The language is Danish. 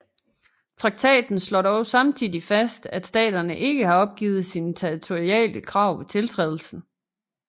Traktaten slår dog samtidig fast at staterne ikke har opgivet sine territoriale krav ved tiltrædelsen